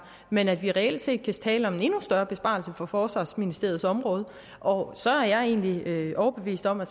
men at vi reelt set kan tale om en større besparelse på forsvarsministerens område og så er jeg egentlig overbevist om at